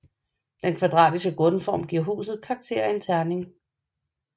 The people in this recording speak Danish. Den kvadratiske grundform giver huset karakter af en terning